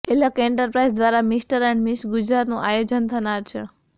Alakh enterprise દ્વારા mister and miss ગુજરાતનું આયોજન થનાર છે